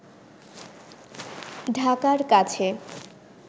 ঢাকার কাছে